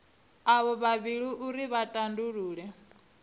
avho vhavhili uri vha tandulule